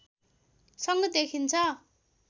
सङ्घ देखिन्छ